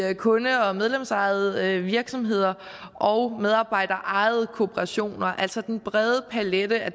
kunde og medlemsejede virksomheder og medarbejderejede kooperationer altså en bred palet af